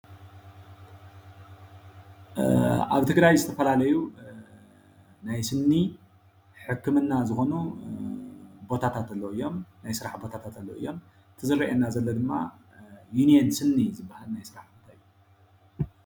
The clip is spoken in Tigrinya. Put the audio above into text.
ኣብ ትግራይ ዝተፈላለዩ ናይ ስኒ ሕክምና ዝኮኑ ቦታታት ኣለዉ እዮም ናይ ስራሕ ቦታታት ኣለዉ እዮም፡፡ እቲ ዝረአየና ዘሎ ድማ ዩኔን ስኒ ዝበሃል ናይ ስራሕ